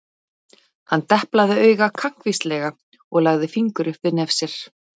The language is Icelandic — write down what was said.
Hann deplaði auga kankvíslega og lagði fingur upp við nef sér.